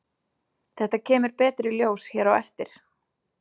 Þetta kemur betur í ljós hér á eftir.